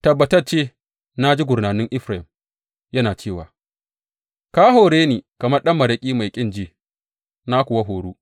Tabbatacce na ji gurnanin Efraim yana cewa, Ka hore ni kamar ɗan maraƙi mai ƙin ji, na kuwa horu.